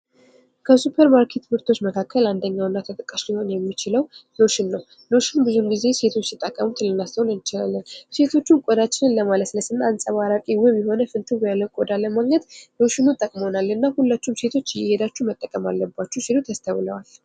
ከሱፐርማርኬት ምርቶች መካከል አንደኛውና ተጠቃሽ ሊሆን የሚችለው ሎሽን ነው ። ሎሽን ብዙውን ጊዜ ሴቶች ሲጠቀሙት ልናስተውል እንችላለን ።ሴቶቹም ቆዳችንን ለማለስለስ እና አንፀባራቂ ውብ የሆነ ፍንትው ያለ ቆዳን ለማግኘት ሎሽኑ ጥቅሞናል እና ሁላችሁም ሴቶች እየሄዳችሁ መጠቀም አለባችሁ ሲሉ ተስተውለዋል ።